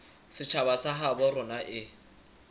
setjhaba sa habo rona e